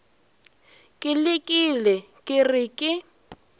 ke lekile ke re ke